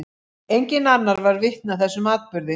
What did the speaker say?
Enginn annar varð vitni að þessum atburði.